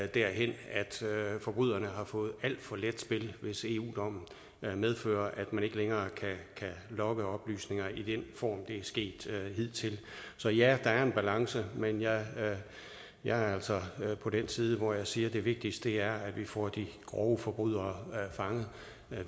derhen hvor forbryderne har fået alt for let spil hvis eu dommen medfører at man ikke længere kan logge oplysninger i den form det er sket hidtil så ja der er en balance men jeg jeg er altså på den side hvor jeg siger at det vigtigste er at vi får de grove forbrydere fanget